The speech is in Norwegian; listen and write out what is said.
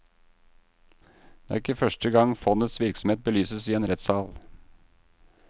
Det er ikke første gang fondets virksomhet belyses i en rettssal.